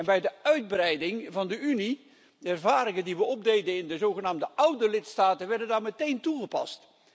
Bij de uitbreiding van de Unie werden de ervaringen die we opdeden in de zogenaamde oude lidstaten daar meteen toegepast.